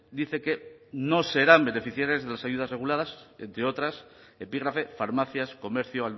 dice que no serán beneficiarias de las ayudas reguladas entre otras epígrafe farmacias comercio